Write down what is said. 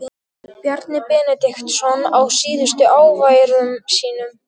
Bjarni Benediktsson á síðustu æviárum sínum.